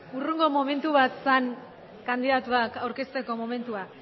hurrengo momentu bat zen kandidatuak aurkezteko momentua